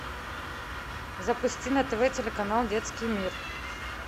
запусти на тв телеканал детский мир